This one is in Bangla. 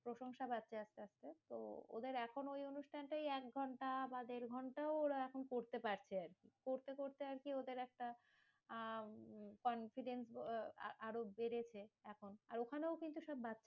প্রশংসা পাচ্ছে আস্তে আস্তে। তো ওদের এখন ওই অনুষ্ঠান টাই একঘন্টা বা দেড়ঘন্টাও ওরা এখন করতে পারছে আরকি। করতে করতে ওদের আরকি একটা আহ confident আ~ আরো বেড়েছে এখন। আর ওখানেও কিন্তু সেরকম